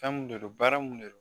Fɛn mun de don baara mun de don